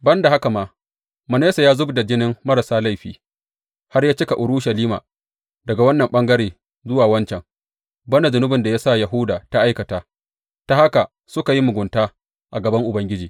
Ban da haka ma, Manasse ya zub da jinin marasa laifi har ya cika Urushalima daga wannan ɓangare zuwa wancan, ban da zunubin da ya sa Yahuda ta aikata, ta haka suka yi mugunta a gaban Ubangiji.